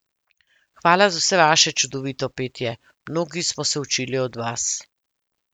Hvala za vse vaše čudovito petje, mnogi smo se učili od vas ...